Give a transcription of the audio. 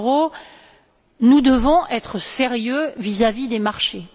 Mauro nous devons être sérieux vis à vis des marchés.